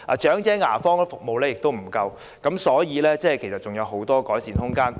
長者牙科服務亦不足，所以，各方面仍有很多改善空間。